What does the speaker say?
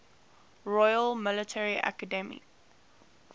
royal military academy